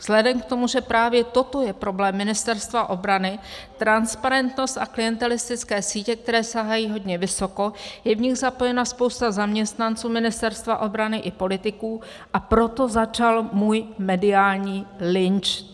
Vzhledem k tomu, že právě toto je problém Ministerstva obrany, transparentnost a klientelistické sítě, které sahají hodně vysoko, je v nich zapojena spousta zaměstnanců Ministerstva obrany i politiků, a proto začal můj mediální lynč."